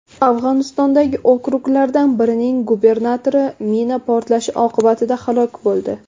Afg‘onistondagi okruglardan birining gubernatori mina portlashi oqibatida halok bo‘ldi.